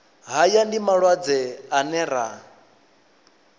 haya ndi malwadze ane ra